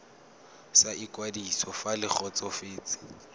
sa ikwadiso fa le kgotsofetse